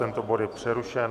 Tento bod je přerušen.